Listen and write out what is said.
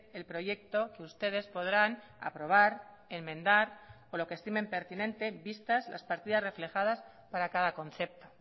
el proyecto que ustedes podrán aprobar enmendar o lo que estimen pertinente vistas las partidas reflejadas para cada concepto